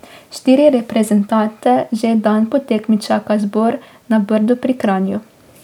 Štiri reprezentante že dan po tekmi čaka zbor na Brdu pri Kranju ...